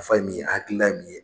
nafa ye min ye a hakili la ye min ye.